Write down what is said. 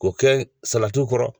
K'o kɛ salatiw kɔrɔ.